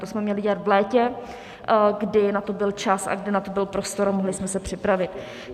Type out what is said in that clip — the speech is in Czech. To jsme měli dělat v létě, kdy na to byl čas a kdy na to byl prostor a mohli jsme se připravit.